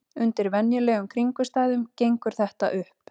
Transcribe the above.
Undir venjulegum kringumstæðum gengur þetta upp.